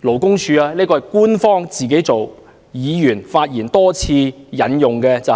剛才為多位議員發言引用，是勞工處在